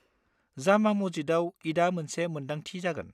जामा मस्जिदाव ईदआ मोनसे मोन्दांथि जागोन।